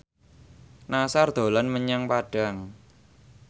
Nassar dolan menyang Padang